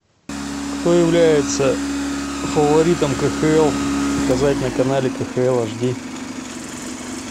кто является фаворитом кхл показать на канале кхл аш ди